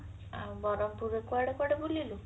ଆଉ ବ୍ରହ୍ମପୁର ରେ କୁଆଡେ କୁଆଡେ ବୁଲିଲୁ